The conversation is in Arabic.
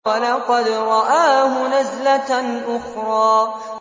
وَلَقَدْ رَآهُ نَزْلَةً أُخْرَىٰ